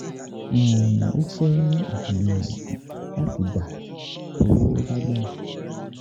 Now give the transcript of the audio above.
um O fẹ um lati gba to lagbara